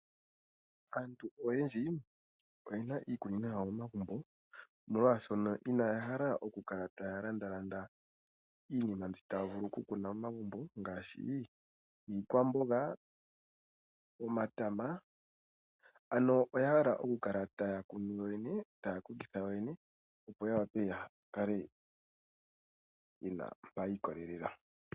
Aantu oyendji oye na iikunino yawo pomagumbo, molwashoka inaya hala okukala taya landaalanda iinima mbyoka taya vulu okukuna momagumbo ngaashi iikwamboga, omatama, ano oya hala okukala taya kunu yoyene, taya kokitha yoyene, opo ya wape ya kale ye na mpa yi ikolelela.